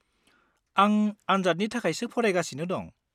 -आं आनजादनि थाखायसो फरायगासिनो दं।